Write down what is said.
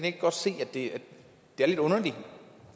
ikke godt se at det er lidt underligt